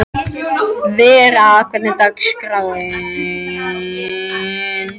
Vera, hvernig er dagskráin?